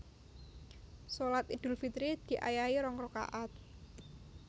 Shalat Iedul Fitri diayahi rong rakaat